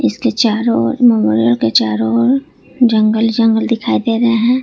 इसके चारों चारो ओर जंगल जंगल दिखाई दे रहे हैं।